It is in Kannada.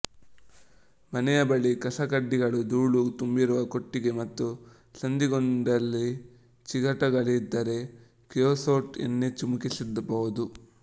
ಮನೆಯ ಬಳಿ ಕಸಕಡ್ಡಿಗಳ ದೂಳು ತುಂಬಿರುವ ಕೊಟ್ಟಿಗೆ ಮತ್ತು ಸಂದಿಗೊಂದಿಗಳಲ್ಲಿ ಚಿಗಟಗಳಿದ್ದರೆ ಕ್ರಿಯೊಸೋಟ್ ಎಣ್ಣೆ ಚಿಮುಕಿಸಬಹುದು